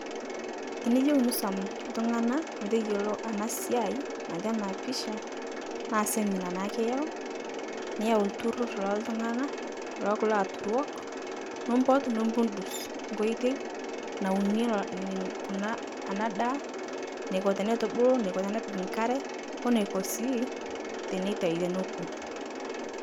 Tiniyeu nisom ltung'ana metoyulo ana siai natii ana pisha, naa semina naake iyau, niyau lturur looltung'ana lookulo aaturok, nipot nipudus koitei, nauni nin kuna ana daa, neiko teneitubulu, neiko tenepik nkare, oneko si tenetai teneku.